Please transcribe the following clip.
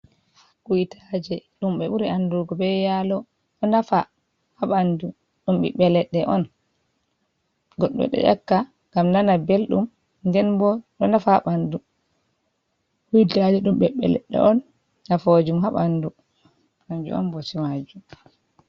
Kuytaaje, ɗum ɓe ɓuri anndugo be yaalo, ɗo nafa haa ɓanndu, ɗum biɓɓe leɗɗe on, goɗɗo ɗo yakka ngam nana belɗum, nden bo ɗo nafa haa ɓanndu, kuytaaje ɗum ɓiɓɓe leɗɗe on nafoojum haa ɓandu. Kanjum on bote maajum.